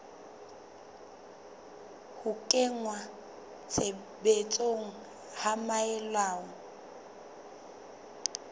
ho kenngwa tshebetsong ha melao